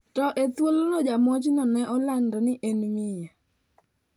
To e thuolono jamonjno ne olandi ni en miyo.